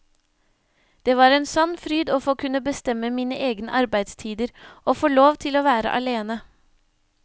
Det var en sann fryd å få kunne bestemme mine egne arbeidstider, å få lov til å være alene.